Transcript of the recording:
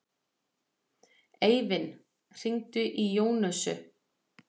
Eivin, hringdu í Jónösu.